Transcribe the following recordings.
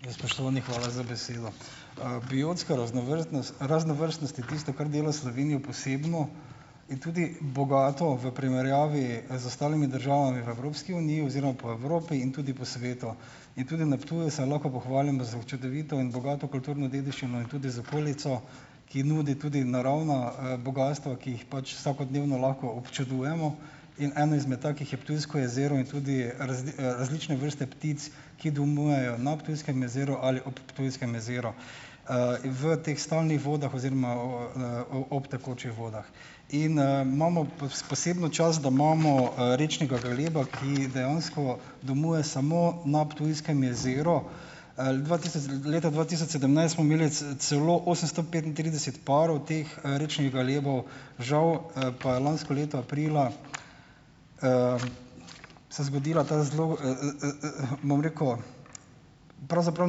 In spoštovani, hvala za besedo . biotska raznovrstnost je tisto , kar dela Slovenijo posebno in tudi bogato v primerjavi z ostalimi državami v Evropski uniji oziroma po Evropi in tudi po svetu. In tudi na Ptuju se lahko pohvalimo s čudovito in bogato kulturno dediščino in tudi z okolico , ki nudi tudi naravna, bogastva, ki jih pač vsakodnevno lahko občudujemo in eno izmed takih je Ptujsko jezero in tudi različne vrste ptic, ki domujejo na Ptujskem jezeru ali ob Ptujskem jezeru. in v teh stalnih vodah oziroma o, o, ob tekočih vodah. In, imamo posebno čast, da imamo, rečnega galeba, ki dejansko domuje samo na Ptujskem jezeru. dva leta dva tisoč sedemnajst smo imeli celo osemsto petintrideset parov teh, rečnih galebov. Žal, pa je lansko leto aprila, se zgodila ta zelo, bom rekel, pravzaprav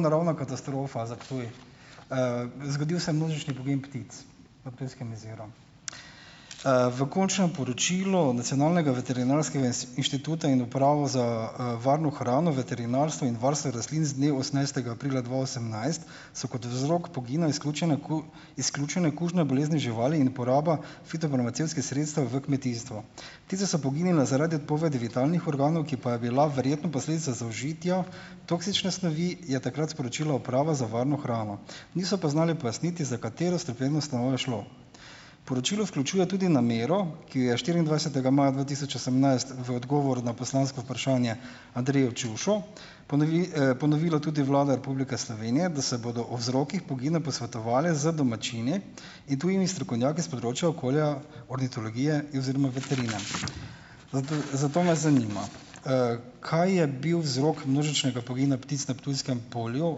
naravna katastrofa za Ptuj. zgodil se množični pogin ptic v Ptujskem jezeru. v končnem poročilu Nacionalnega veterinarskega inštituta in Uprave za, varno hrano, veterinarstvo in varstvo rastlin z dne osemnajstega aprila dva osemnajst, so kot vzrok pogina izključene izključene kužne bolezni živali in uporaba fitofarmacevtskih sredstev v kmetijstvu. Ptice so poginile zaradi odpovedi vitalnih organov, ki pa je bila verjetno posledica zaužitja toksične snovi, je takrat sporočila Uprava za varno hrano. Niso pa znali pojasniti, za katero strupeno snov je šlo. Poročilo vključuje tudi namero, ki je štiriindvajsetega maja dva tisoč osemnajst v odgovor na poslansko vprašanje Andreju Čušu, ponovila tudi Vlada Republike Slovenije, da se bodo o vzrokih pogina posvetovali z domačini in tujimi strokovnjaki s področja okolja ornitologije in, oziroma veterine . zato me zanima : kaj je bil vzrok množičnega pogina ptic na Ptujskem polju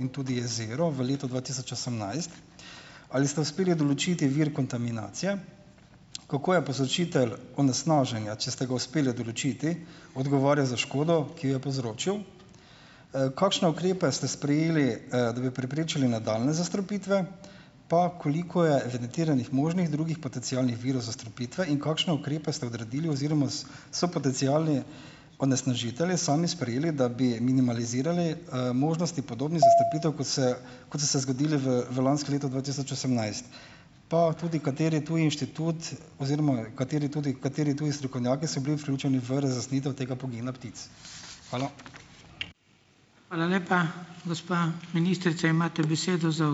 in tudi jezeru v letu dva tisoč osemnajst? Ali ste uspeli določiti vir kontaminacije? Kako je povzročitelj onesnaženja, če ste ga uspeli določiti, odgovarja za škodo, ki jo povzročil? kakšna ukrepe ste sprejeli, da bi preprečili nadaljnje zastrupitve? Pa, koliko je evidentiranih možnih drugih potencialnih virov zastrupitve in kakšne ukrepe ste odredili oziroma so potencialni onesnažitelji sami sprejeli, da bi minimalizirali, možnosti podobnih zastrupitev , kot se, kot so se zgodile v, v lansko leto dva tisoč osemnajst. Pa tudi, kateri tudi inštitut oziroma kateri tudi, kateri tudi strokovnjaki so bili vključeni v razjasnitev tega pogina ptic. Hvala. Hvala lepa. Gospa ministrica, imate besedo za ...